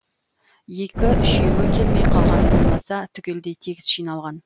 екі үшеуі келмей қалғаны болмаса түгелдей тегіс жиналған